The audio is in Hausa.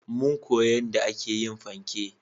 Mun koya yanda a ke yin fanke